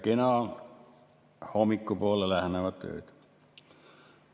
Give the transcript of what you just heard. Kena hommikule lähenevat ööd!